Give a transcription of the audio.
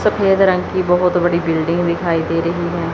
सफेद रंग की बहोत बड़ी बिल्डिंग दिखाई दे रही है।